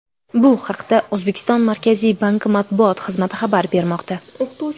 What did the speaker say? Bu haqda O‘zbekiston Markaziy banki matbuot xizmati xabar bermoqda .